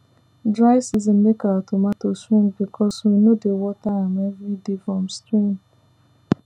dry season make our tomato shrink because we no dey water am every day from stream